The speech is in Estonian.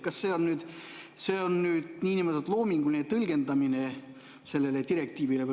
Kas see on selle direktiivi loominguline tõlgendamine?